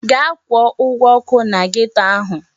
Gaa kwụọ ụgwọ ọkụ na geto ahụ!